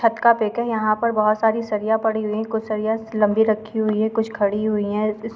इस छत का पीक है यहाँ पर बहुत सारी सरिया पड़ी हुए है कुछ सरिया लम्बी रखी हुई है कुछ खड़ी हुई हैं।